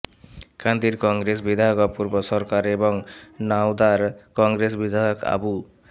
কান্দির কংগ্রেস বিধায়ক অপূর্ব সরকার এবং নওদার কংগ্রেস বিধায়ক আবু